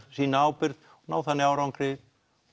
sýna ábyrgð ná þannig árangri